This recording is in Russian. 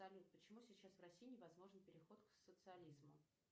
салют почему сейчас в россии невозможен переход к социализму